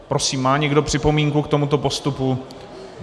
Prosím, má někdo připomínku k tomuto postupu?